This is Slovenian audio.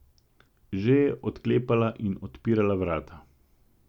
Že je odklepala in odpirala vrata.